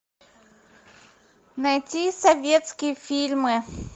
найти советские фильмы